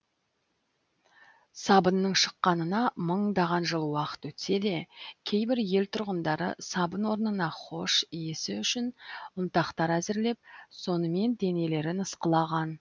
сабынның шыққанына мыңдаған жыл уақыт өтсе де кейбір ел тұрғындары сабын орнына хош иісі үшін ұнтақтар әзірлеп сонымен денелерін ысқылаған